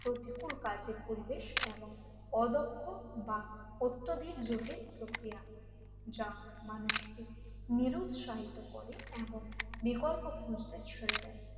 প্রতিকূল কাজের পরিবেশ এবং অদক্ষ বা অত্যাধিক জটিল প্রক্রিয়া যা মানুষকে নিরুৎশাহিত করে এমন বিকল্প খুঁজতে ছেড়ে দেয়।